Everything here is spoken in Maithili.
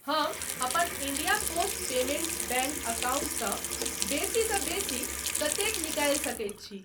हम अपन इंडिया पोस्ट पेमेंट्स बैंक अकाउंटसँ बेसी सँ बेसी कतेक निकालि सकैत छी?